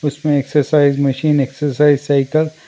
उसमें exercise machine exercise cycle --